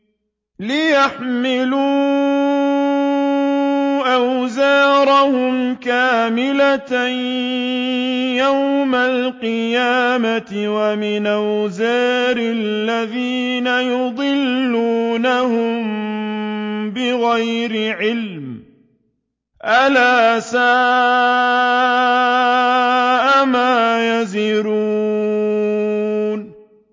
لِيَحْمِلُوا أَوْزَارَهُمْ كَامِلَةً يَوْمَ الْقِيَامَةِ ۙ وَمِنْ أَوْزَارِ الَّذِينَ يُضِلُّونَهُم بِغَيْرِ عِلْمٍ ۗ أَلَا سَاءَ مَا يَزِرُونَ